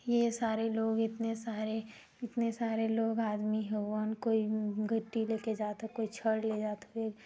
ये सारे लोग इतने सारे इतने सारे लोग आदमी हवन कोई अम्म गिट्टी लेके जाता ह कोई छड़ ले जात हवे।